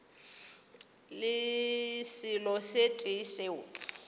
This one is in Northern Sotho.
le selo se tee seo